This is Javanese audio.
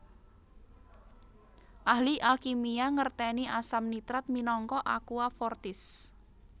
Ahli alkimia ngertèni asam nitrat minangka aqua fortis